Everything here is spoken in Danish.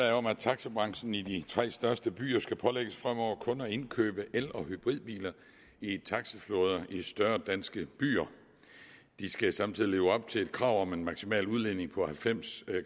om at taxabranchen i de tre største byer skal pålægges fremover kun at indkøbe el og hybridbiler i taxaflåder i større danske byer de skal samtidig leve op til et krav om en maksimal udledning på halvfems